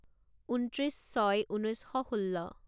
ঊনত্ৰিছ ছয় ঊনৈছ শ ষোল্ল